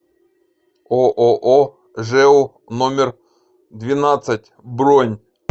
ооо жэу номер двенадцать бронь